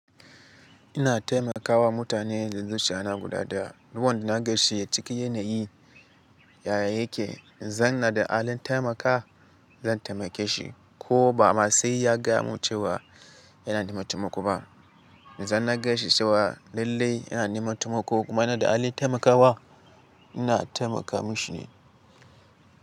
Ina taimakawa mutane zuzu shana guda da ruwan da na gaishe ciki yanayi yaya yake. In zan na da halin taimakawa, zan taimake shi ko ba ma sai ya gama cewa yana neman taimako ba. In zan na gaishe cewa lallai yana neman taimako kuma na da halin taimakawa, ina taimaka mashi ne.